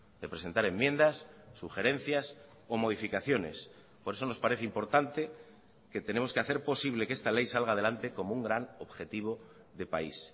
de presentar enmiendas sugerencias o modificaciones por eso nos parece importante que tenemos que hacer posible que esta ley salga adelante como un gran objetivo de país